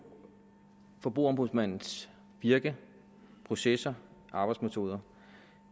forbrugerombudsmandens virke processer og arbejdsmetoder